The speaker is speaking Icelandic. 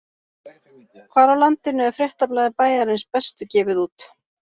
Hvar á landinu er fréttablaðið Bæjarins Bestu gefið út?